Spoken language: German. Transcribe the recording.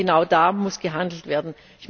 Und genau da muss gehandelt werden!